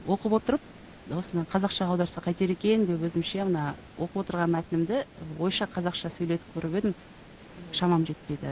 оқып отырып осыны қазақшаға аударса қайтер екен деп өзімше мына оқып отырған мәтінімді ойша қазақша сөйлетіп көріп едім шамам жетпеді